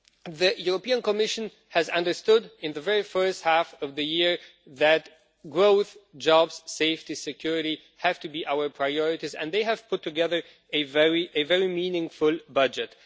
The European Commission has understood in the very first half of the year that growth, jobs, safety and security have to be our priorities, and they have put together a very meaningful budget.